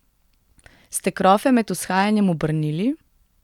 Ste krofe med vzhajanjem obrnili?